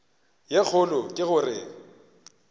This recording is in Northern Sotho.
ye kgolo ke go re